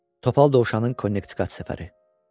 Topal Dovşanın Konnektikat səfəri.